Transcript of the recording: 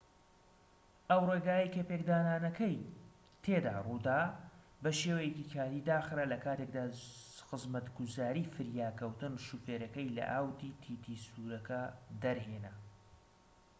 ئەو ڕێگایەی کە پێکدادانەکەی تێدا ڕوودا بە شێوەیەکی کاتی داخرا لە کاتێکدا خزمەتگوزاری فریاکەوتن شۆفێرەکەی لە ئاودی تی تی سوورەکە دەرهێنا